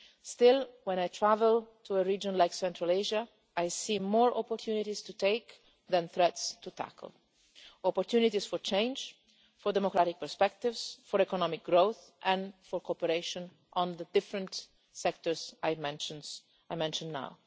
news. Still, when I travel to a region like Central Asia I see more opportunities to take than threats to tackle opportunities for change, for democratic perspectives, for economic growth and for cooperation on the different sectors I have mentioned